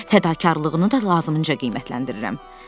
Fədakarlığını lazımincə qiymətləndirirəm.